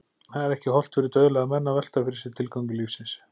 Það er ekki hollt fyrir dauðlega menn að velta fyrir sér tilgangi lífsins.